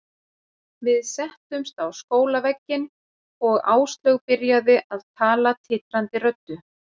Við settumst á skólavegginn og Áslaug byrjaði að tala titrandi röddu.